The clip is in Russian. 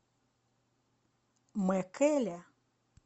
мэкэле